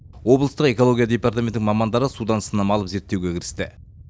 облыстық экология департаменті мамандары судан сынама алып зерттеуге кірісті